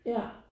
Ja